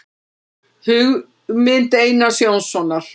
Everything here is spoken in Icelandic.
Hugmynd Einars Jónssonar.